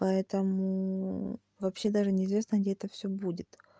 поэтому вообще даже неизвестно где это всё будет